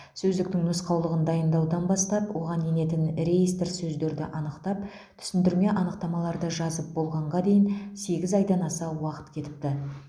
сөздіктің нұсқаулығын дайындаудан бастап оған енетін реестр сөздерді анықтап түсіндірме анықтамаларды жазып болғанға дейін сегіз айдан аса уақыт кетіпті